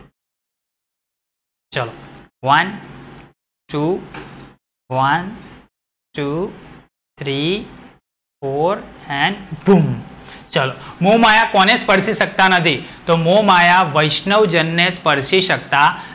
one, two, one, two, three four and ભૂમ. ચલો, મોહમાયા કોને સ્પર્શી સકતા નથી? તો મોહમાયા વૈષ્ણવજનને સ્પર્શી સકતા,